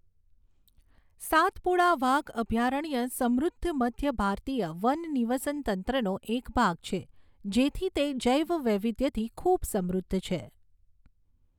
સાતપુડા વાઘ અભયારણ્ય સમૃદ્ધ મધ્ય ભારતીય વન નિવસનતંત્રનો એક ભાગ છે, જેથી તે જૈવ વૈવિધ્યથી ખૂબ સમૃદ્ધ છે.